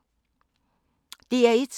DR1